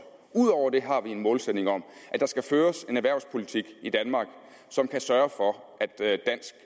ud over det har vi en målsætning om at der skal føres en erhvervspolitik i danmark som kan sørge for